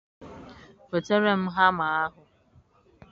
nwetere m hamma ahụ.